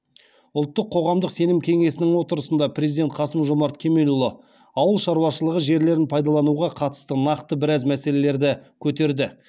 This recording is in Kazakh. ұлттық қоғамдық сенім кеңесінің отырысында президент қасым жомарт кемелұлы ауыл шаруашылығы жерлерін пайдалануға қатысты нақты біраз мәселелерді көтерді